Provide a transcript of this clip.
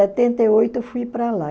e oito eu fui para lá.